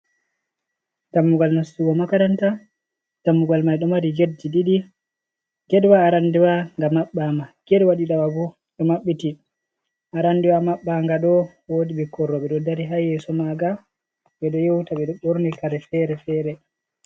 Dammugal nastugo makaranta. Dammugal mai ɗo mari getji ɗiɗi. Getwa arande wa nga maɓɓa ma, get waa ɗiɗaɓa bo, ɗo maɓɓiti. Arande wa maɓɓa nga ɗo, woodi ɓikkoi rooɓe ɗo dari haa yeeso manga, ɓe ɗo yewta. Ɓe ɗo ɓorni kare feere-feere.